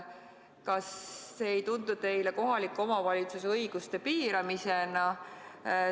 Kas see ei tundu teile kohaliku omavalitsuse õiguste piiramisena?